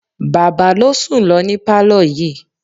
Bàbá ló sùn lọ ní pálọ̀ yìí.